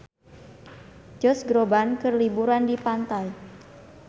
Josh Groban keur liburan di pantai